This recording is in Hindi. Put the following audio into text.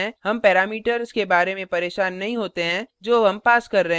हम parameters के बारे में परेशान नहीं होते हैं जो हम पास कर रहे हैं